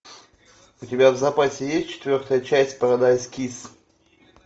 у тебя в запасе есть четвертая часть парадайз кисс